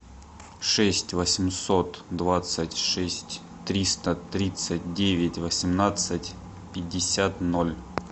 шесть восемьсот двадцать шесть триста тридцать девять восемнадцать пятьдесят ноль